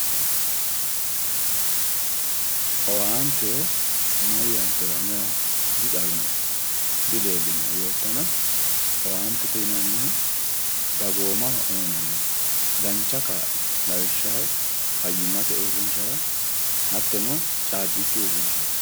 owaante yaa mayyaatero anera dixawinoe dileellinoe yoottana owaantete yinannihu dagoomaho uyiinanni dancha kaa'lo lawishshaho fayyimmate uurrinshara hattono caabbichu uurrinshara.